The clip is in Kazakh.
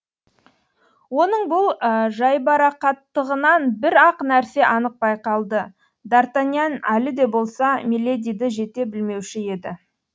оның бұл жайбарақаттығынан бір ақ нәрсе анық байқалды д артаньян әлі де болса миледиді жете білмеуші еді